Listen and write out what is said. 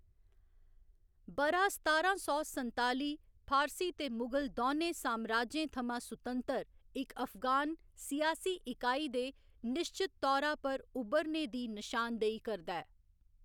ब'रा सतारां सौ संताली फारसी ते मुगल दौनें सामराजें थमां सुतंतर इक अफगान सियासी इकाई दे निश्चत तौरा पर उब्भरने दी नशान देही करदा ऐ।